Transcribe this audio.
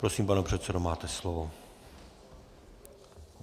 Prosím, pane předsedo, máte slovo.